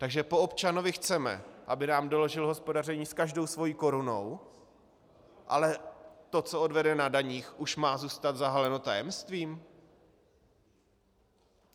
Takže po občanovi chceme, aby nám doložil hospodaření s každou svou korunou, ale to, co odvede na daních, už má zůstat zahaleno tajemstvím?